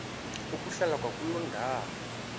ukuhlala kwakuloo ndawo